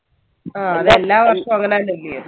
ആ എല്ലാ വർഷും അങ്ങനഅല്ലയോ